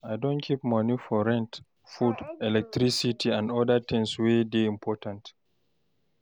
I don keep moni for rent, food, electricity, and oda tins wey dey important.